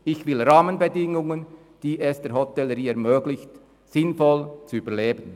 ich will Rahmenbedingungen, die es der Hotellerie ermöglichen, sinnvoll zu überleben.